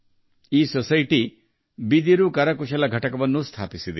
ಈ ಸೊಸೈಟಿಯು ಬಿದಿರು ಕರಕುಶಲ ಘಟಕವನ್ನೂ ಸ್ಥಾಪಿಸಿದೆ